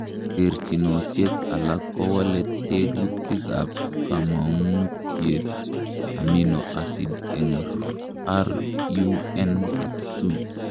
Terchinosiek alak kowole tekutikab komong'utiet amino acid en RUNX2.